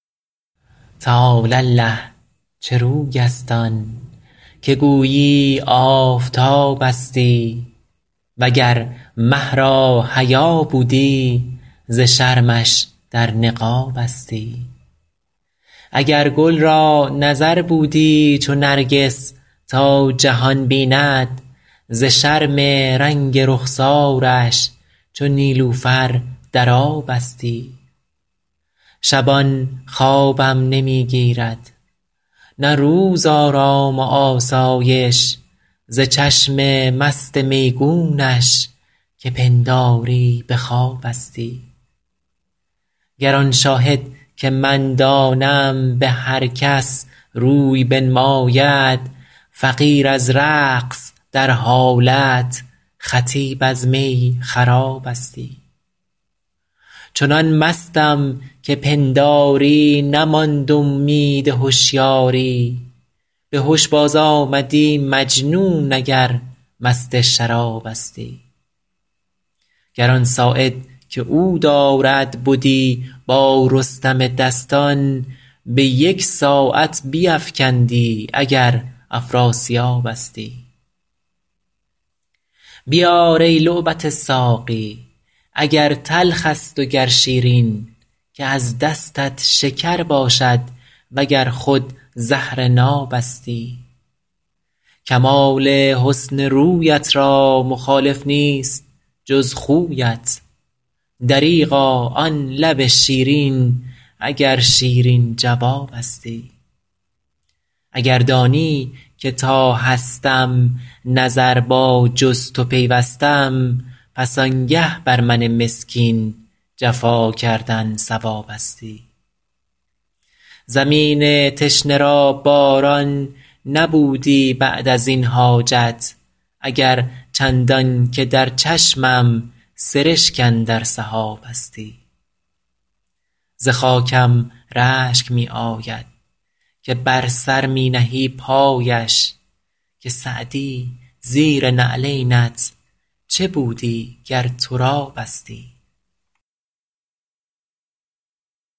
تعالی الله چه روی است آن که گویی آفتابستی و گر مه را حیا بودی ز شرمش در نقابستی اگر گل را نظر بودی چو نرگس تا جهان بیند ز شرم رنگ رخسارش چو نیلوفر در آبستی شبان خوابم نمی گیرد نه روز آرام و آسایش ز چشم مست میگونش که پنداری به خوابستی گر آن شاهد که من دانم به هر کس روی بنماید فقیر از رقص در حالت خطیب از می خرابستی چنان مستم که پنداری نماند امید هشیاری به هش بازآمدی مجنون اگر مست شرابستی گر آن ساعد که او دارد بدی با رستم دستان به یک ساعت بیفکندی اگر افراسیابستی بیار ای لعبت ساقی اگر تلخ است و گر شیرین که از دستت شکر باشد و گر خود زهر نابستی کمال حسن رویت را مخالف نیست جز خویت دریغا آن لب شیرین اگر شیرین جوابستی اگر دانی که تا هستم نظر با جز تو پیوستم پس آنگه بر من مسکین جفا کردن صوابستی زمین تشنه را باران نبودی بعد از این حاجت اگر چندان که در چشمم سرشک اندر سحابستی ز خاکم رشک می آید که بر سر می نهی پایش که سعدی زیر نعلینت چه بودی گر ترابستی